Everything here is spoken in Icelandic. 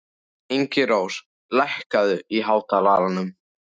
Ingirós, lækkaðu í hátalaranum.